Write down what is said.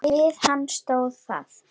Við það stóð hann.